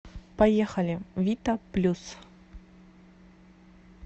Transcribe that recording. поехали вита плюс